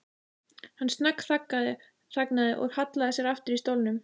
Hann snöggþagnaði og hallaði sér aftur í stólnum.